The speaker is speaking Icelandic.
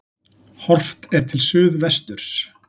Horft er til suðvesturs.